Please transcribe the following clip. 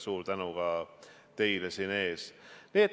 Suur tänu ka teile!